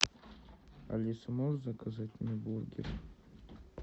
алиса можешь заказать мне бургеры